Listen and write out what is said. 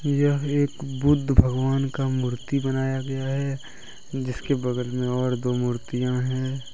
यह एक बुद्ध भगवान का मूर्ति बनाया गया है जिसके बगल मे और दो मूर्तियाँ है।